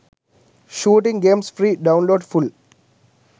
shooting games free download full